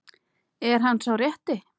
Er hann sá rétti?